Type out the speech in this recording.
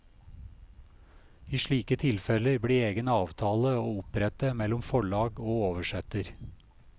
I slike tilfeller blir egen avtale å opprette mellom forlag og oversetter.